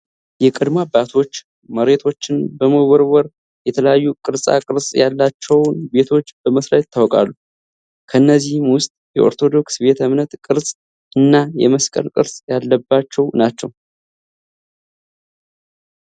የቀደሙ አባቶች መሬቶችን በመቦርቦር የተለያዩ ቅርፃ ቅርፅ ያላቸውን ቤቶች በመስራት ይታወቃሉ። ከእነዚህም ውስጥ የኦርቶዶክስ ቤተ እምነት ቅርፅ እና የመስቀል ቅርፅ ያለባቸው ናቸዉ።